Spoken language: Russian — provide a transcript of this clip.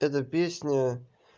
эта песня